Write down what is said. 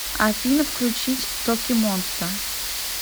афина включить токимонста